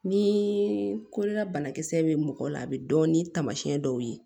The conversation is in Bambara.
Ni kolola banakisɛ bɛ mɔgɔ la a bɛ dɔn ni taamasiyɛn dɔw ye